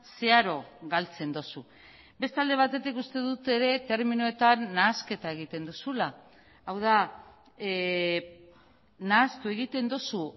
zeharo galtzen duzu beste alde batetik uste dut ere terminoetan nahasketa egiten duzula hau da nahastu egiten duzu